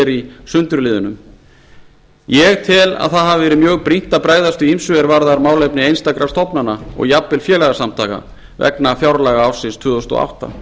í sundurliðunum ég tel að það hafi verið mjög brýnt að bregðast við ýmsu er varðar málefni einstakra stofnana og jafnvel félagasamtaka vegna fjárlaga ársins tvö þúsund og átta